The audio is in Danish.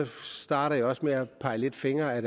starter jeg også med at pege lidt fingre ad